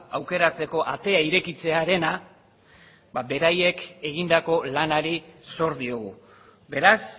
aukeratzeko atea irekitzearena beraiek egindako lanari sor diogu beraz